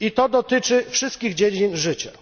Dotyczy to wszystkich dziedzin życia.